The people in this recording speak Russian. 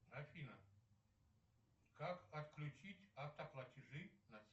афина как отключить автоплатежи на